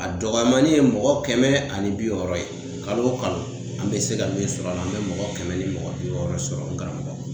A dɔgɔyamani ye mɔgɔ kɛmɛ ani bi wɔɔrɔ ye kalo o kalo an be se ka min sɔrɔ a la an be mɔgɔ kɛmɛ ni mɔgɔ bi wɔɔrɔ sɔrɔ n karamɔgɔ